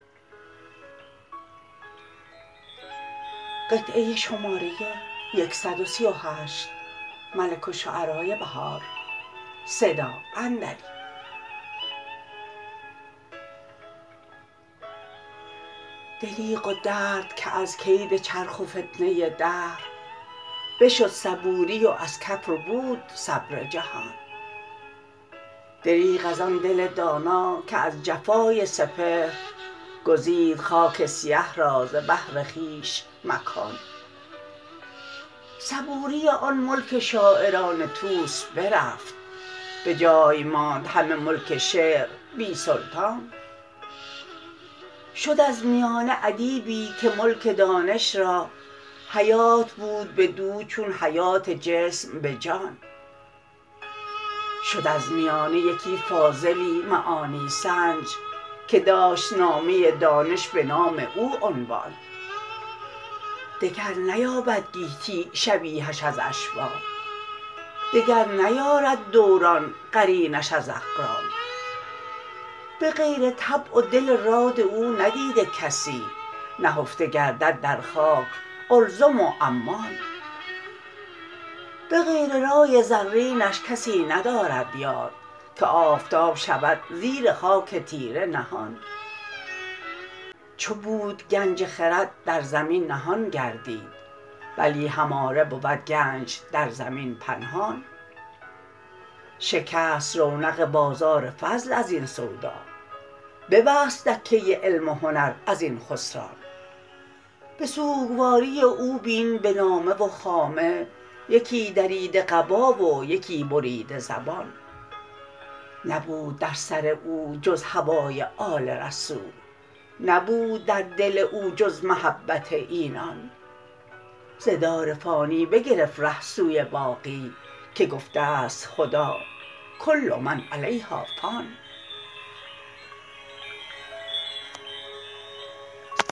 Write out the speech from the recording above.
دربغ و دردکه ازکید چرخ و فتنه دهر بشد صبوری و ازکف ربود صبر جهان دربغ از آن دل دانا که از جفای سپهر گزید خاک سیه را ز بهر خویش مکان صبوری آن ملک شاعران طوس برفت بجای ماند همه ملک شعر بی سلطان شد از میانه ادیبی که ملک دانش را حیات بود بدو چون حیات جسم به جان شد از میانه یکی فاضلی معانی سنج که داشت نامه دانش بنام او عنوان دگر نیابد گیتی شبیهش از اشباه دگر نیارد دوران قرینش از اقران بغیر طبع و دل راد او ندیده کسی نهفته گردد در خاک قلزم و عمان بغیر رای رزینش کسی ندارد یاد که آفتاب شود زیر خاک تیره نهان چو بود گنج خرد در زمین نهان گردید بلی هماره بود گنج در زمین پنهان شکست رونق بازار فضل ازین سودا ببست دکه علم و هنر ازبن خسران به سوگواری او بین به نامه و خامه یکی دریده قبا و یکی بریده زبان نبود در سر او جز هوای آل رسول نبود در دل او جز محبت اینان ز دار فانی بگرفت ره سوی باقی که گفته است خدا کل من علیها فان